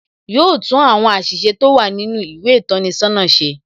Yo tún àwọn àṣìṣe tó wà nínú ìwé ìtọ́ni sọ́nà ṣe.